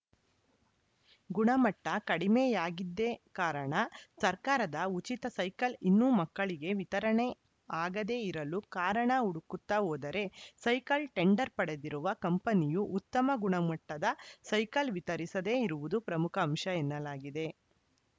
ಗುಣಮಟ್ಟಕಡಿಮೆಯಾಗಿದ್ದೆ ಕಾರಣ ಸರ್ಕಾರದ ಉಚಿತ ಸೈಕಲ್‌ ಇನ್ನೂ ಮಕ್ಕಳಿಗೆ ವಿತರಣೆ ಆಗದೆ ಇರಲು ಕಾರಣ ಹುಡುಕುತ್ತ ಹೋದರೆ ಸೈಕಲ್‌ ಟೆಂಡರ್‌ ಪಡೆದಿರುವ ಕಂಪನಿಯು ಉತ್ತಮ ಗುಣಮಟ್ಟದ ಸೈಕಲ್‌ ವಿತರಿಸದೆ ಇರುವುದೇ ಪ್ರಮುಖ ಅಂಶ ಎನ್ನಲಾಗಿದೆ